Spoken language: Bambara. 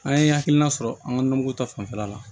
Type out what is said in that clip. An ye hakilina sɔrɔ an ka nɔnɔmugu ta fanfɛla la